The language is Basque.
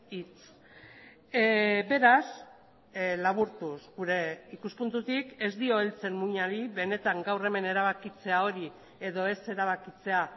hitz beraz laburtuz gure ikuspuntutik ez dio heltzen muinari benetan gaur hemen erabakitzea hori edo ez erabakitzea